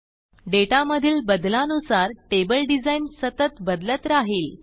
डेटामधील बदलानुसारtable डिझाइन सतत बदलत राहील